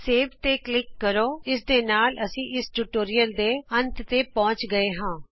save ਤੇ click ਕਰੋ ਇਸ ਦੇ ਨਾਲ ਅਸੀਂ ਇਸ ਟਿਯੂਟੋਰਿਅਲ ਦੇ ਅੰਤ ਤੇ ਪਹੁੰਚ ਚੁਕੇ ਹਾਂ